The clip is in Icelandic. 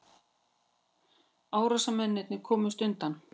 Árásarmennirnir komust undan